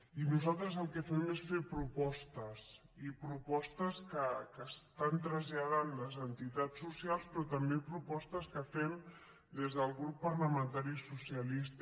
i nosaltres el que fem és fer propostes i propostes que estan traslladant les entitats socials però també propostes que fem des del grup parlamentari socialista